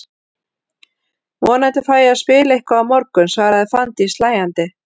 Vonandi fæ ég að spila eitthvað á morgun, svaraði Fanndís hlæjandi.